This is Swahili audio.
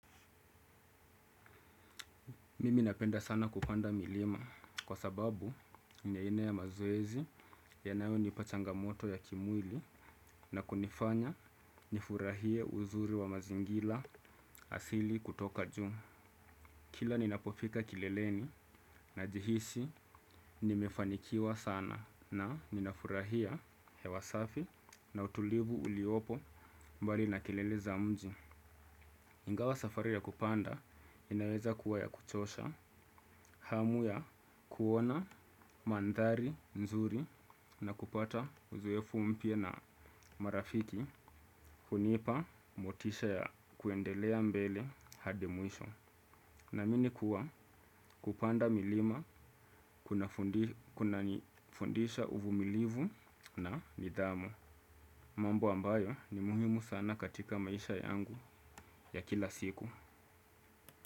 Mimi napenda sana kupanda milima kwa sababu ni aina ya mazoezi yanayonipa changamoto ya kimwili na kunifanya nifurahie uzuri wa mazingira asili kutoka juu. Kila ninapofika kileleni najihisi nimefanikiwa sana na ninafurahia hewa safi na utulivu uliopo mbali na kilele za mji. Ingawa safari ya kupanda inaweza kuwa ya kuchosha, hamu ya kuona mandhari nzuri na kupata uzoefu mpya na marafiki hunipa motisha ya kuendelea mbele hadi mwisho. Namini kuwa kupanda milima kunanifundisha uvumilivu na nidhamu. Mambo ambayo ni muhimu sana katika maisha yangu ya kila siku.